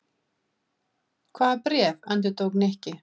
Hvaða bréf? endurtók Nikki.